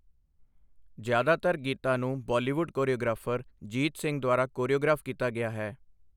ਜ਼ਿਆਦਾਤਰ ਗੀਤਾਂ ਨੂੰ ਬਾਲੀਵੁੱਡ ਕੋਰੀਓਗ੍ਰਾਫਰ ਜੀਤ ਸਿੰਘ ਦੁਆਰਾ ਕੋਰੀਓਗ੍ਰਾਫ ਕੀਤਾ ਗਿਆ ਹੈ।